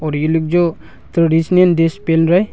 और ये लोग जो ट्रेडिशनल ड्रेस पहन रहे--